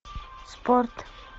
спорт